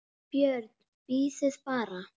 Þú verður seint biskup!